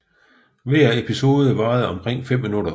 Hver episode varede omkring 5 minutter